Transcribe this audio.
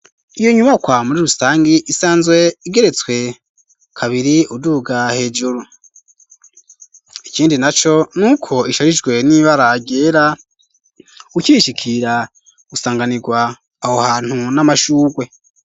iyo nyubakwa muri rusangi isanzwe igeretswe kabiri uduga hejuru, ikindi na co n'uko isharijwe n'ibara ryera, ukirishikira usanganirwa aho hantu n'amashugwe.